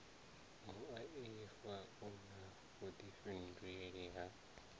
muaifa u na vhuifhinduleli ha